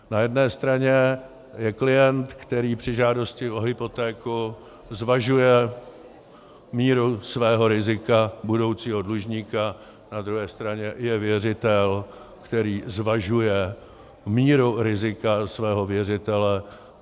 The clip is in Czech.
Na jedné straně je klient, který při žádosti o hypotéku zvažuje míru svého rizika budoucího dlužníka, na druhé straně je věřitel, který zvažuje míru rizika svého věřitele.